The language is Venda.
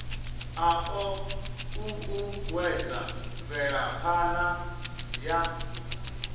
a o uuwedza mvelaphana ya